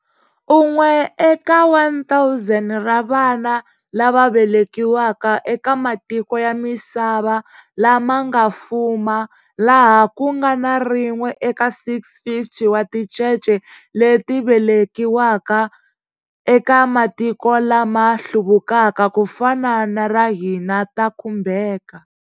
Un'we eka 1 000 ra vana lava velekiwaka eka matiko ya misava lama nga fuma laha ku nga na rin'we eka 650 wa tincece leti velekiwaka eka matiko lama hluvukaka, ku fana na ra hina, ta khumbeka.